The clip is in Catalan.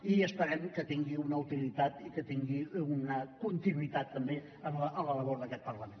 i esperem que tingui una utilitat i que tingui una continuïtat també en la labor d’aquest parlament